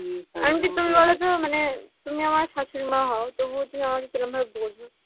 আমি কি বলছি বলতো মানে তুমি আমার শাশুড়ি মা হও তবুও তুমি আমাকে কিরকম ভাবে বললে